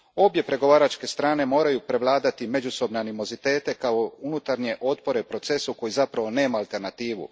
Obje pregovaračke strane moraju prevladati međusobne animozitete kao i unutarnje otpore procesu koji zapravo nema alternativu.